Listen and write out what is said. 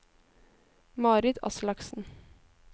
Marit Aslaksen